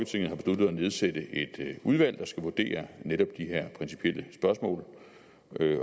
nedsætte et udvalg der skal vurdere netop de her principielle spørgsmål